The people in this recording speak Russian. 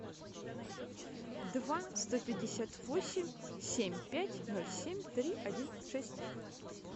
два сто пятьдесят восемь семь пять ноль семь три один шесть